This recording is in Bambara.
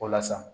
Walasa